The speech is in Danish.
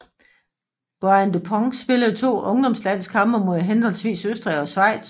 Brian Dupont spillede 2 ungdomslandskampe mod henholdsvis Østrig og Schweiz